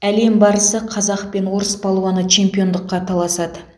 әлем барысы қазақ пен орыс палуаны чемпиондыққа таласады